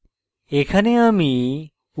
এখানে আমি